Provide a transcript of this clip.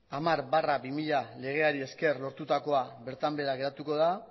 hamar barra bi mila legeari esker lortutakoa bertan behera geratuko da